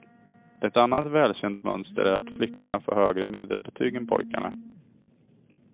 Ett annat välkänt mönster är att flickorna får högre medelbetyg än pojkarna.